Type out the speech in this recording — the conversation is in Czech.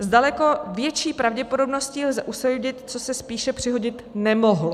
S daleko větší pravděpodobností lze usoudit, co se spíše přihodit nemohlo.